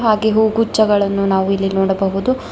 ಹಾಗೆ ಹೂಗುಚ್ಛಗಳನ್ನು ನಾವು ಇಲ್ಲಿ ನೋಡಬಹುದು.